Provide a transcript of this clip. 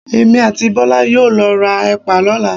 Èmi àti Bọ́lá yóò lọ ra Ẹ̀pà lọ́la.